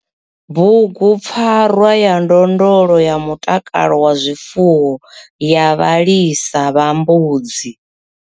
Bugupfarwa ya ndondolo ya mutakalo wa zwifuwo ya vhalisa vha mbudzi.